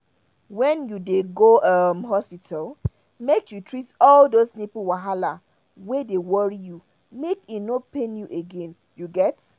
when you dey go um hospital make you treat all those nipple wahala wey dey worry you make e no pain you again you get